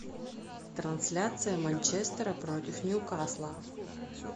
трансляция манчестера против ньюкасла